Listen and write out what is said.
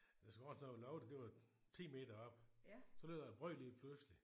Jeg tror sådan at loftet det var 10 meter oppe. Så lød der et brøl lige pludselig